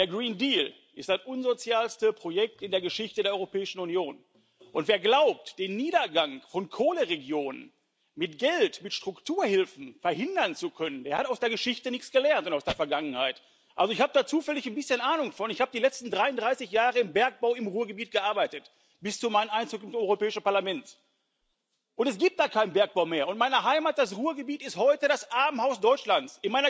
Der Grüne Deal ist das unsozialste Projekt in der Geschichte der Europäischen Union, und wer glaubt, den Niedergang von Kohleregionen mit Geld, mit Strukturhilfen verhindern zu können, der hat aus der Geschichte und aus der Vergangenheit nichts gelernt. Also ich habe zufällig ein bisschen Ahnung davon, ich habe die letzten 33 Jahre im Bergbau im Ruhrgebiet gearbeitet bis zu meinem Einzug ins Europäische Parlament. Es gibt da keinen Bergbau mehr, und meine Heimat, das Ruhrgebiet, ist heute das Armenhaus Deutschlands.